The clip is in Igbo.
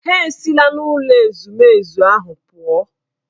Ha esila n'ụlọ ezumezu ahụ pụọ.